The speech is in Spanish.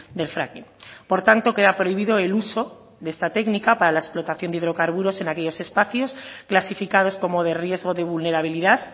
del fracking por tanto queda prohibido el uso de esta técnica para la explotación de hidrocarburos en aquellos espacios clasificados como de riesgo de vulnerabilidad